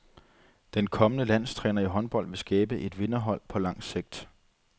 Den kommende landstræner i håndbold vil skabe et vinderhold på lang sigt.